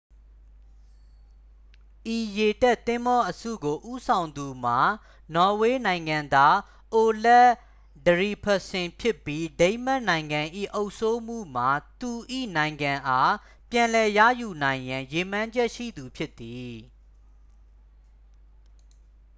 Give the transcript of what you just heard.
ဤရေတပ်သင်္ဘောအစုကိုဦးဆောင်သူမှာ နော်ဝေနိုင်ငံသား အိုလက် ထရီဗက်ဆင် ဖြစ်ပြီး ဒိန်းမတ်နိုင်ငံ၏ အုပ်စိုးမှုမှ သူ၏နိုင်ငံအား ပြန်လည်ရယူနိုင်ရန် ရည်မှန်းချက်ရှိသူဖြစ်သည်